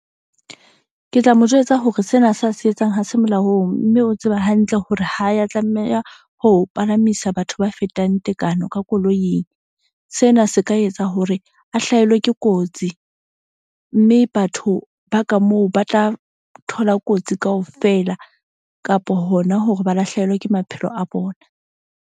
Ke tla mo jwetsa hore sena sa se etsang ha se molaong, mme o tseba hantle hore ha ya tlameha ho palamisa batho ba fetang tekano ka koloing. Sena se ka etsa hore a hlahelwa ke kotsi. Mme batho ba ka moo ba tla thola kotsi kaofela kapo hona hore ba lahlehelwe ke maphelo a bona.